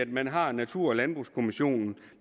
man har natur og landbrugskommissionen